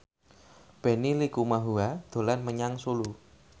Benny Likumahua dolan menyang Solo